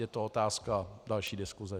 Je to otázka další diskuse.